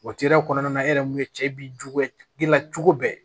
O kɔnɔna na e yɛrɛ mun ye cɛ bi juguya gila cogo bɛɛ